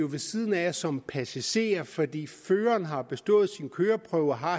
ved siden af som passager fordi føreren har bestået sin køreprøve og har